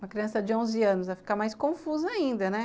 Uma criança de onze anos vai ficar mais confusa ainda, né?